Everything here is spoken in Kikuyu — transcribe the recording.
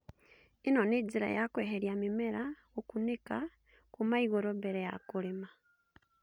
ĩno nĩ njĩra ya kweheria mĩmera gũkunĩka kuuma igũrũ mbere ya kũrĩma